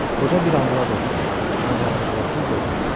Qoca bir anlığa qorxdu, ancaq bu halı tez də ötüşdü.